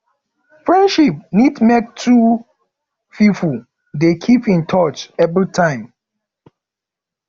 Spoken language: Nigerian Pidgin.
friendship need make two pipo dey keep in touch every time